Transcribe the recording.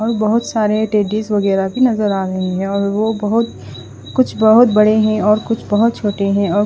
और बोहोत सारे टेडीस वगेहरा भी नज़र आ रहे है और वो बोहोत कुछ बोहोत बड़े है और कुछ बोहोत छोटे है और--